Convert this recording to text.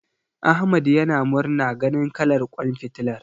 Ahmad yana murna ganin kalar ƙwan fitilar.